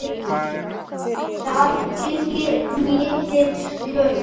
Þeim fylgir mikil slökun.